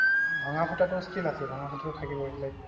ভঙা ফুটাটো still আছে ভঙা ফুটাটো থাকিবই like